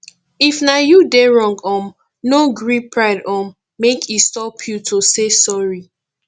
if na you dey wrong um no gree pride um make e stop you to say sorry